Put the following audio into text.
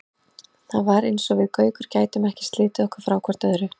Það var eins og við Gaukur gætum ekki slitið okkur frá hvort öðru.